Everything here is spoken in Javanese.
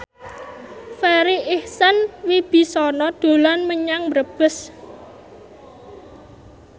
Farri Icksan Wibisana dolan menyang Brebes